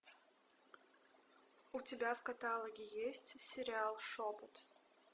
у тебя в каталоге есть сериал шепот